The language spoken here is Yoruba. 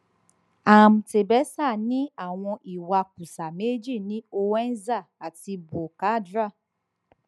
am tebessa ní àwọn ìwakùsà méjì ní ouenza àti boukadra